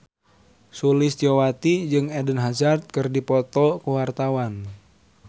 Sulistyowati jeung Eden Hazard keur dipoto ku wartawan